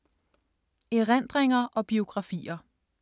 Erindringer og biografier